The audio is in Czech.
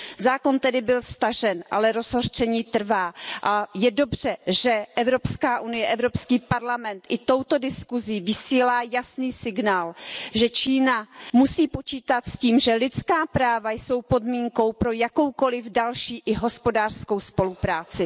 Zákon tedy byl stažen, ale rozhořčení trvá, a je dobře, že Evropská unie, Evropský parlament i touto diskusí vysílá jasný signál, že Čína musí počítat s tím, že lidská práva jsou podmínkou pro jakoukoliv další i hospodářskou spolupráci.